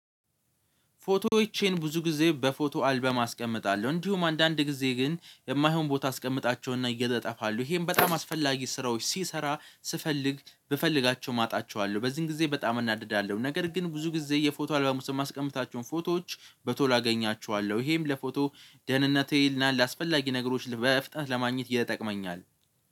ፎቶዎቼን ብዙ ጊዜ በፎቶ አልበም አስቀምጣለሁ እንዲሁም አንዳንድ ጊዜ ግን የማይሆን ቦታ አስቀምጣቸውና እጠፋሉ ይሄም በጣም አስፈላጊ ስራዎች ሲሰራ ስፈልግ ብፈልጋቸው አጣቸዋለሁ። በዚህን ጊዜ በጣም እናድዳለሁ ነገር ግን ብዙ ጊዜ የፎቶ አልባም ውስጥ የማስቀምጣቸውን ፎቶዎች በቶሎ አገኛቸዋለሁ። ይሄም ለፎቶ ደህንነቴ እና ለአስፈላጊ ነገሮች በፍጥነት ለማግኘት ይተጠቅመኛል።